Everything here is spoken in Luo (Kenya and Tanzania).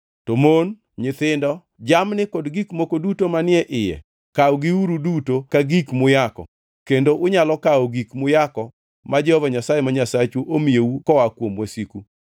To mon, nyithindo, jamni kod gik moko duto manie iye kawgiuru duto ka gik muyako kendo unyalo kawo gik muyako ma Jehova Nyasaye ma Nyasachu omiyou koa kuom wasiku.